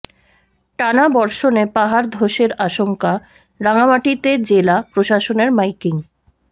টানা বর্ষণে পাহাড় ধসের আশঙ্কা রাঙামাটিতে জেলা প্রশাসনের মাইকিং